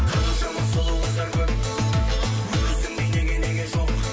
қаншама сұлу қыздар көп өзіңдей неге неге жоқ